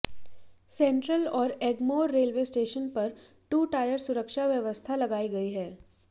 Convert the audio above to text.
central और Egmore railway station पर two tier सुरक्षा व्यवस्था लगाई गई है